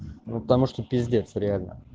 ну потому что пиздец реально